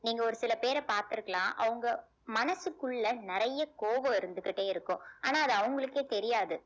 நீங்க ஒரு சில பேரை பார்த்திருக்கலாம் அவங்க மனசுக்குள்ள நிறைய கோபம் இருந்துகிட்டே இருக்கும் ஆனா அது அவங்களுக்கே தெரியாது